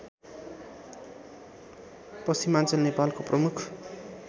पश्चिमाञ्चल नेपालको प्रमुख